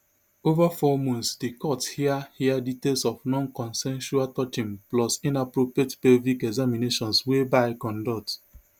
ova four months di court hear hear details of nonconsensual touching plus inappropriate pelvic examinations wey bye conduct